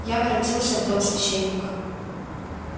я воротился в дом священника